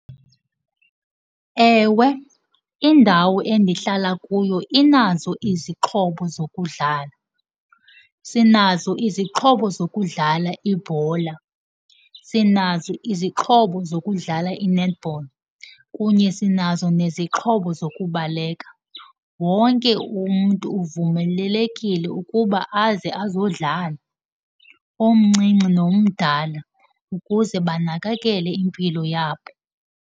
Ewe, indawo endihlala kuyo inazo izixhobo zokudlala. Sinazo izixhobo zokudlala ibhola, sinazo izixhobo zokudlala i-netball, kunye sinazo nezixhobo zokubaleka. Wonke umntu uvumelelekile ukuba aze azodlala, omncinci nomdala, ukuze banakakele impilo yabo.